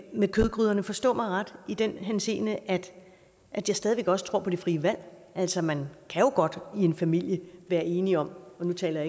med kødgryderne forstå mig ret i den henseende at at jeg stadig væk også tror på det frie valg altså man kan jo godt i en familie være enige om og nu taler